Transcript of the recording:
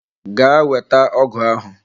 Gaa weta ọgụ ahụ!